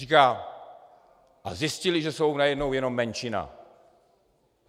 Říká: A zjistili, že jsou najednou jenom menšina.